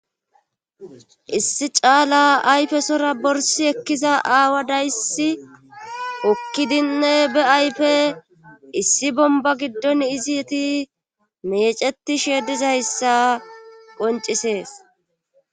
issi caala ayfesora borsi ekkiza aawa daysi okkidinne be ayfe issi bomba giddon izi yeti meceti sheedizayssa qoncisees